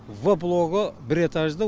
в блогы бір этажды